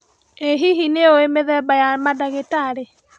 Ĩ hihi nĩũĩ mĩthemba ya mandagĩtarĩ